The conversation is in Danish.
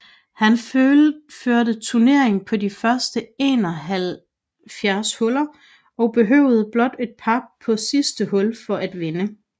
Han førte turneringen på de første 71 huller og behøvede blot en par på sidste hul for at vinde